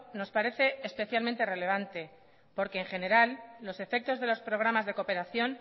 nos parece especialmente relevante porque en general los efectos de los programas de cooperación